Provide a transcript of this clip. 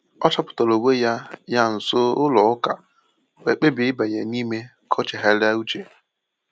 O chọpụtara onwe ya ya nso ụlọ ụka wee kpebie ịbanye n’ime ka o chegharịa uche.